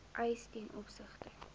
eis ten opsigte